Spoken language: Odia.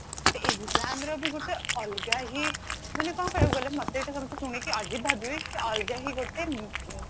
but examର ବି ଗୋଟେ ଅଲଗା ହି ମାନେ କଣ କହିବାକୁ ଗଲେ ମତେ ଏଇଠି ଶୁଣିକି ସବୁ ଅଜୀବ ଭାବିବେ କି ଅଲଗା ହି ଗୋଟେ